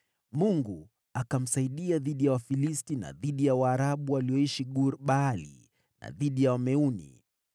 Mungu akamsaidia dhidi ya Wafilisti na dhidi ya Waarabu walioishi Gur-Baali na dhidi ya Wameuni.